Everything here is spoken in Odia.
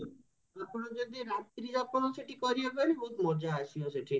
ଆପଣ ଜଡି ରାତ୍ରି ଯାପନ ସେଠି କରିବା ପାଇଁ ବହୁତ ମଜା ଆସିବା ସେଠି